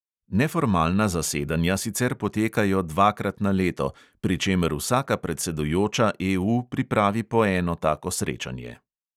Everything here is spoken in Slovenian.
Neformalna zasedanja sicer potekajo dvakrat na leto, pri čemer vsaka predsedujoča EU pripravi po eno tako srečanje.